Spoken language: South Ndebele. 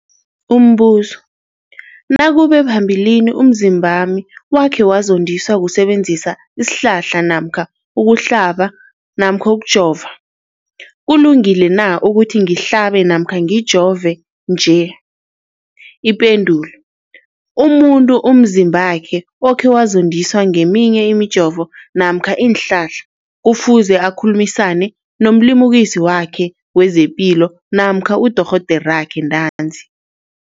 Umbuzo, nakube phambilini umzimbami wakhe wazondiswa kusebenzisa isihlahla namkha ukuhlaba namkha ukujova, kulungile na ukuthi ngihlabe namkha ngijove nje? Ipendulo, umuntu umzimbakhe okhe wazondiswa ngeminye imijovo namkha iinhlahla kufuze akhulumisane nomlimukisi wakhe wezepilo namkha udorhoderakhe ntanzi.